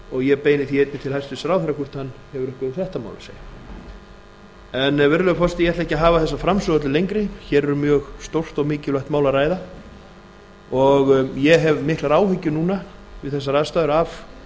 og ég beini því einnig til hæstvirts ráðherra hvort hann hefur eitthvað um þetta mál að segja en virðulegur forseti ég ætla ekki að hafa þessa framsögu öllu lengri hér er um mjög stórt og mikilvægt mál að ræða en ég hef miklar áhyggjur núna við þessar aðstæður af